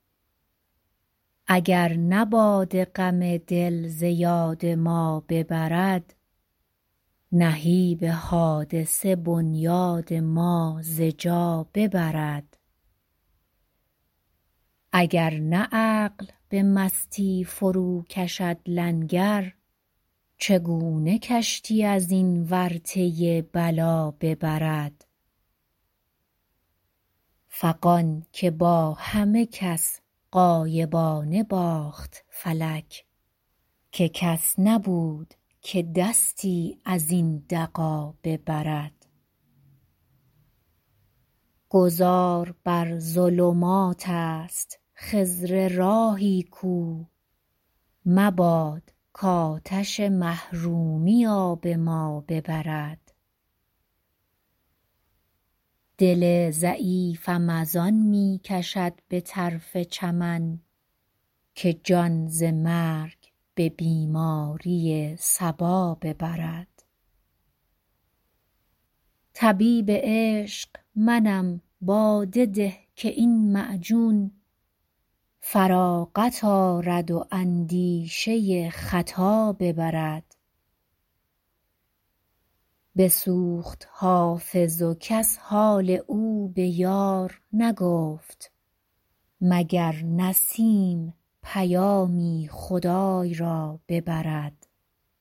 اگر نه باده غم دل ز یاد ما ببرد نهیب حادثه بنیاد ما ز جا ببرد اگر نه عقل به مستی فروکشد لنگر چگونه کشتی از این ورطه بلا ببرد فغان که با همه کس غایبانه باخت فلک که کس نبود که دستی از این دغا ببرد گذار بر ظلمات است خضر راهی کو مباد کآتش محرومی آب ما ببرد دل ضعیفم از آن می کشد به طرف چمن که جان ز مرگ به بیماری صبا ببرد طبیب عشق منم باده ده که این معجون فراغت آرد و اندیشه خطا ببرد بسوخت حافظ و کس حال او به یار نگفت مگر نسیم پیامی خدای را ببرد